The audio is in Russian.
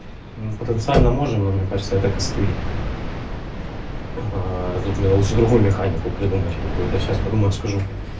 в потенциально можем но мне кажется это костыль тут мне лучше другую механику придумать какую-то сейчас подумаю скажу